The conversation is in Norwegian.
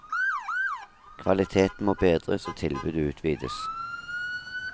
Kvaliteten må bedres og tilbudet utvides.